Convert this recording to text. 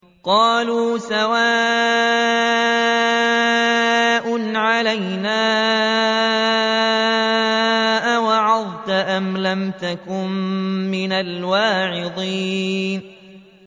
قَالُوا سَوَاءٌ عَلَيْنَا أَوَعَظْتَ أَمْ لَمْ تَكُن مِّنَ الْوَاعِظِينَ